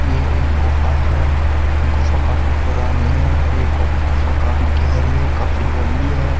ये एक गुफा है। गुफा का काफी पुरानी है और एक गुफा काफी गहरी काफी लंबी है।